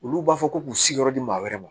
Olu b'a fɔ ko k'u sigiyɔrɔ di maa wɛrɛ ma